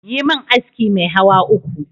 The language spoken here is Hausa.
Yimin aski mai hawa uku